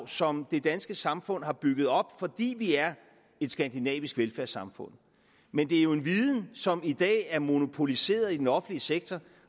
som det danske samfund har bygget op fordi vi er et skandinavisk velfærdssamfund men det er en viden som i dag er monopoliseret i den offentlige sektor